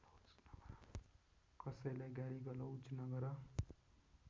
कसैलाई गालीगलौज नगर